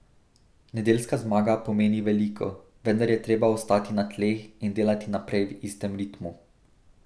Nedeljska zmaga pomeni veliko, vendar je treba ostati na tleh in delati naprej v istem ritmu.